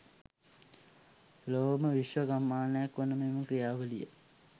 ලොවම විශ්ව ගම්මානයක් වන මෙම ක්‍රියාවලිය